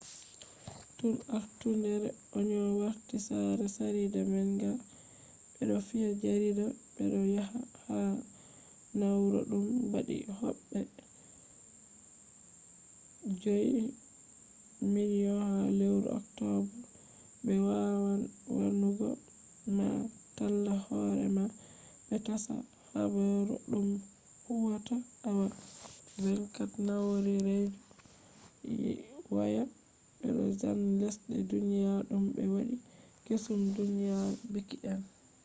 tun artundere onion warti sare jarida manga ,be do fiya jarida be do yofa ha na'ura dum waddi hobbe 5,000,000 ha lewru october be wawan wannugo ma talla horema be tasha habaru dum huwata awa 24 nau'ra redio waya be bo zane lesde duniyaji dum be waddi kesum duniya bilki en